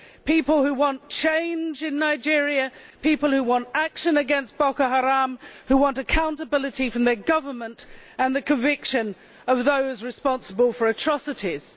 people who want change in Nigeria, people who want action against Boko Haram, who want accountability from their government and the conviction of those responsible for atrocities.